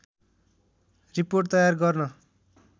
report तयार गर्न